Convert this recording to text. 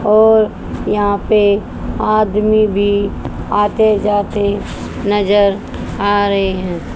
और यहां पे आदमी भी आते जाते नजर आ रहे हैं।